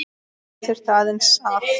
Já, ég þurfti aðeins að.